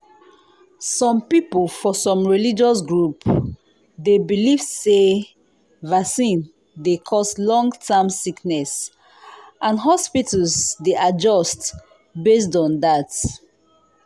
some people for some religious group dey believe say vaccine dey cause long-term sickness and hospitals dey adjust based on that.